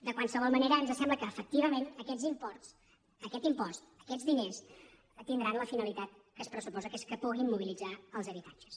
de qualsevol manera ens sembla que efectivament aquests imports aquest impost aquests diners tindran la finalitat que s’hi pressuposa que és que puguin mobilitzar els habitatges